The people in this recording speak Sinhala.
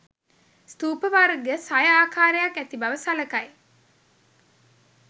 ස්ථූප වර්ග සය ආකාරයක් ඇති බව සලකයි.